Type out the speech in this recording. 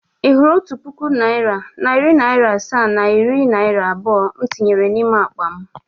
Ị hụrụ otu puku naịra, nari naira asaa na iri naira abụọ m tinyere n’ime akpa m?